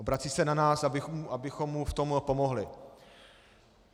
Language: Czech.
Obrací se na nás, abychom mu v tom pomohli.